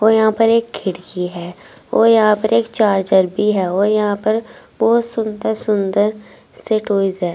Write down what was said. और यहा पर एक खिड़कि है और यहा पर एक चार्जर भी है और यहा पर बहुत सुंदर सुंदर से टूल्स है।